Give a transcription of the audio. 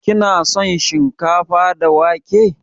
Kina son shinkafa da wake?